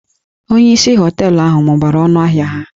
Onyeisi hóteélụ̀ ahụ mụbara ọnụ ahịa ha